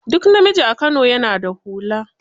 Duk namiji a Kano ya na da hula.